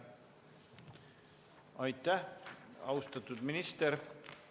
Aitäh, austatud minister!